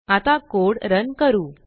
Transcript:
आता code run करू